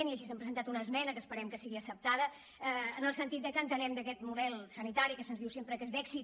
i així hem presentat una esmena que esperem que sigui acceptada en el sentit que entenem que aquest model sanitari que se’ns diu sempre que és d’èxit